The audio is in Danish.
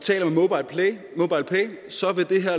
så